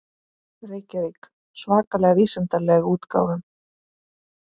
Reykjavík: Svakalega vísindalega útgáfan.